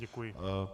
Děkuji.